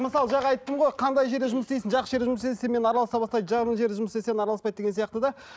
мысалы жаңа айттым ғой қандай жерде жұмыс істейсің жақсы жерде істесең сенімен араласа бастайды жаман жерде жұмыс істесең араласпайды деген сияқты да